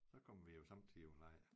Så kom vi jo sommetider på lejr